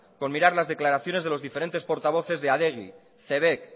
con mirar las declaraciones de los diferentes portavoces de adegi cebek